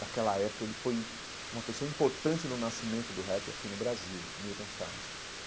Naquela época, ele foi uma pessoa importante no nascimento do rap aqui no Brasil, Milton Salles.